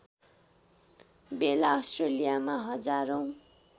बेला अस्ट्रेलियामा हजारौँ